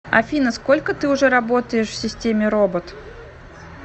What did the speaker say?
афина сколько ты уже работаешь в системе робот